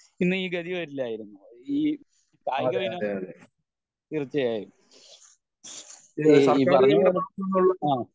പിന്നെ ഈ ഗതി വരില്ലായിരുന്നു ഈ കായിക വിനോ തീർച്ചയായും ഈ പറഞ്ഞ പോലെ ആഹ്